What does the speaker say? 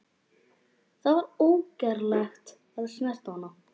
Það var ógerlegt að snerta hana.